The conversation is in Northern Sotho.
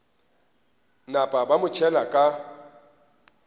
napa ba mo tšhela ka